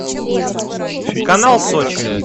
канал сочи